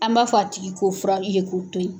An m'a fɔ a tigi k'o fura ye k'o to ye.